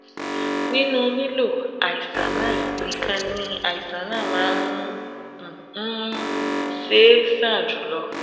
nínú lílo àìsàn náà nìkan ni àìsàn náà máa um ń ṣe é sàn jù lọ